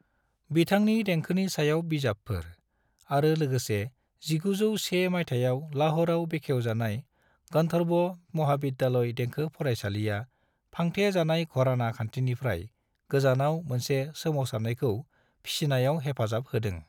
बिथांनि देंखोनि सायाव बिजाबफोर, आरो लोगोसे 1901 मायथाइयाव लाहौरआव बेखेव जानाय गंधर्व महाविद्यालय देंखो फरायसालिया फांथे जानाय घराना खान्थिनिफ्राय गोजानाव मोनसे सोमावसारनायखौ फिसिनायाव हेफाजाब होदों।